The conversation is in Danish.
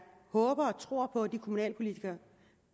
håber og tror på at de kommunalpolitikere